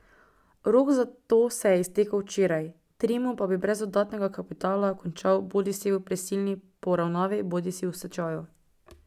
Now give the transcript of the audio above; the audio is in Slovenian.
Rok za to se je iztekel včeraj, Trimo pa bi brez dodatnega kapitala končal bodisi v prisilni poravnavi bodisi v stečaju.